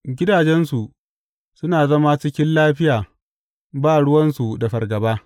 Gidajensu suna zama cikin lafiya ba ruwansu da fargaba.